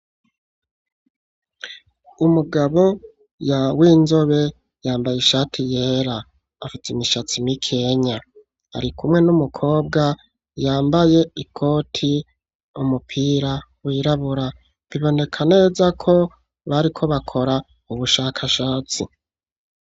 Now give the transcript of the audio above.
Umugabo ya w'inzobe yambaye ishati yera afit' imishatsi m'ikenya ari kumwe n'umukobwa yambaye ikoti umupira wirabura biboneka neza ko bariko bakora ubushakashatsi